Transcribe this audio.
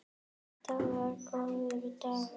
Þetta var góður dagur.